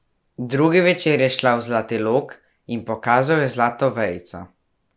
Drugi večer je šla v zlati log, in pokazal je zlato vejico.